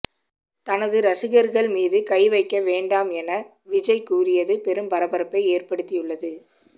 தனது ரசிகர்கள் மீது கை வைக்க வேண்டாம் என விஜய் கூறியது பெரும் பரபரப்பை ஏற்படுத்தியுள்ளது